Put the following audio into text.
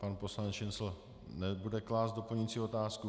Pan poslanec Šincl nebude klást doplňující otázku.